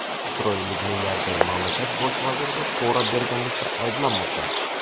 Isroillik milliarder mamlakat bosh vaziriga pora berganlikda ayblanmoqda.